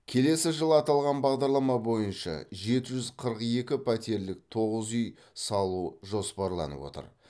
келесі жылы аталған бағдарлама бойынша жеті жүз қырық екі пәтерлік тоғыз үй салу жоспарланып отыр